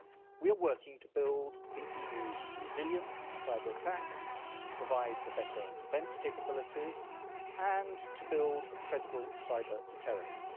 We are working to build the EU's resilience to cyber-attacks, provide for better defence capabilities and to build a credible cyber-deterrence.